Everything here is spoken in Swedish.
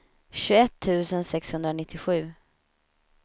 tjugoett tusen sexhundranittiosju